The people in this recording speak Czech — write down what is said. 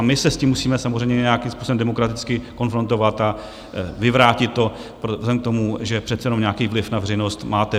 A my se s tím musíme samozřejmě nějakým způsobem demokraticky konfrontovat a vyvrátit to vzhledem k tomu, že přece jenom nějaký vliv na veřejnost máte.